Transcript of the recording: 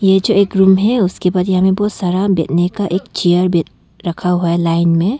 ये जो एक रूम उसके बाद यहां पे बहुत सारा एक चेयर भी रखा हुआ है लाइन में।